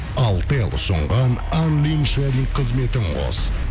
алтел ұсынған қызметін қос